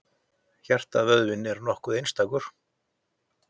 Hjartavöðvinn er nokkuð einstakur.